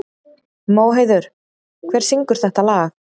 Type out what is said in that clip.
Móheiður, hver syngur þetta lag?